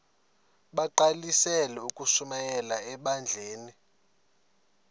bagqalisele ukushumayela ebandleni